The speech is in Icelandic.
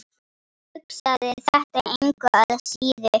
Hugsaði þetta engu að síður.